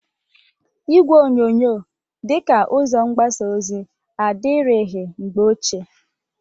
Igwe onyonyo dị ka ụzo mgbasa ozi adịrịghị mgbe ochie.